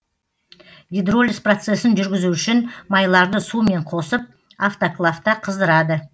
гидролиз процесін жүргізу үшін майларды сумен қосып автоклавта қыздырады